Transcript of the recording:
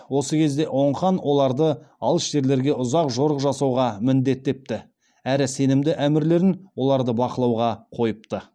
осы кезде оң хан оларды алыс жерлерге ұзақ жорық жасауға міндеттепті әрі сенімді әмірлерін оларды бақылауға қойыпты